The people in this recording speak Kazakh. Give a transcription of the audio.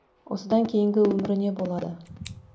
осыдан кейінгі өмірі не болады